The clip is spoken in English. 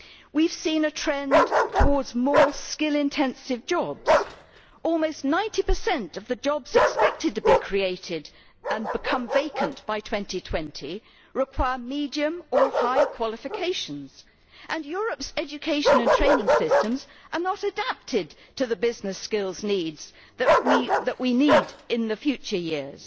We have seen a trend towards more skill intensive jobs almost 90 of the jobs expected to be created and become vacant by 2020 require medium or high qualifications and Europe's education and training systems are not adapted to the business skills needs that we will need in the future years.